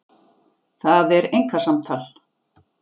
Það er einkasamtal.